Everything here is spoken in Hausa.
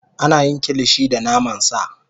Ana yin Kilishi da naman sa